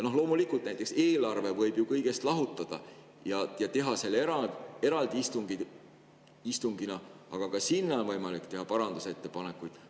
Loomulikult, näiteks eelarve võib ju kõigest lahutada ja teha eraldi istungi, aga ka eelarve kohta on võimalik teha parandusettepanekuid.